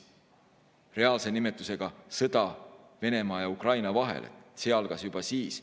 Reaalse nimetusega sõda Venemaa ja Ukraina vahel algas juba siis.